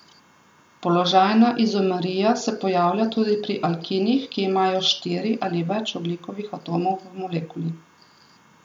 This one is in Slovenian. Položajna izomerija se pojavlja tudi pri alkinih, ki imajo štiri ali več ogljikovih atomov v molekuli.